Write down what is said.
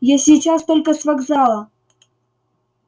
я сейчас только с вокзала